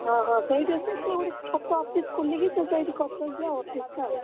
ହଁ ହଁ ସେଇଠି ଅଛି ସିଏ ଗୋଟେ ଛୋଟ office ଖୋଲିକି ସିଏ ସେଇଠି କରିଛନ୍ତି ଆଉ office ଟା ଆଉ।